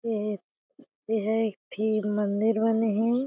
ए ह एहा एक ठी मंदिर बने हे।